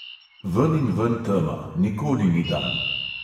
Veninven tema, nikoli ni dan.